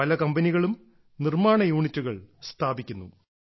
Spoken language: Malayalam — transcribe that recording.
പല കമ്പനികളും നിർമ്മാണ യൂണിറ്റുകൾ സ്ഥാപിക്കുന്നു